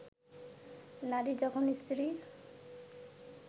নারী যখন স্ত্রী